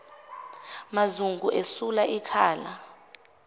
mazungu esula ikhala